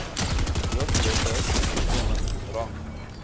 hoofletters bestemming rang